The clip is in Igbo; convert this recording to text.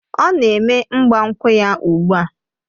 Ọ na-eme ịgbankwu ya ugbu a